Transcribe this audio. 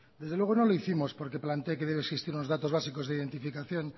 desde luego no lo hicimos porque plantee que debe existir los datos básicos de identificación